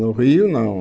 No Rio, não.